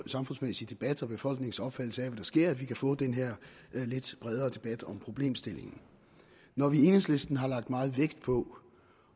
samfundsmæssige debat og befolkningens opfattelse af hvad der sker at vi kan få denne lidt bredere debat om problemstillingen når vi i enhedslisten har lagt meget vægt på